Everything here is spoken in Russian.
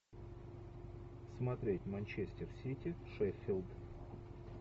смотреть манчестер сити шеффилд